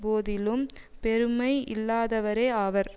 போதிலும் பெருமை இல்லாதவரே ஆவர்